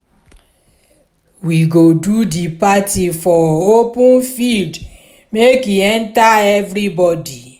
we go do di party for open field make e enta everybodi